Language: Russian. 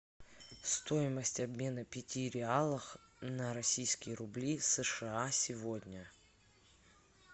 стоимость обмена пяти реалах на российские рубли сша сегодня